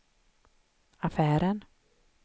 affären